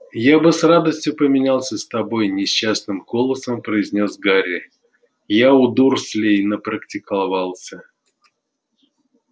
я бы с радостью поменялся с тобой несчастным голосом произнёс гарри я у дурслей напрактиковался